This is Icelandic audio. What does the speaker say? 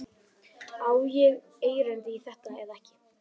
Á ég erindi í þetta eða ekki?